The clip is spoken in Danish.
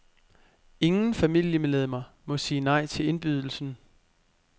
Ingen familiemedlemmer må sige nej til indbydelsen.